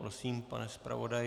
Prosím, pane zpravodaji.